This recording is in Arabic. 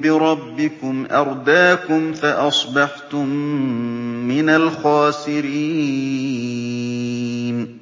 بِرَبِّكُمْ أَرْدَاكُمْ فَأَصْبَحْتُم مِّنَ الْخَاسِرِينَ